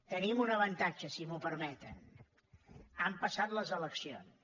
tenim un avantatge si m’ho permeten han passat les eleccions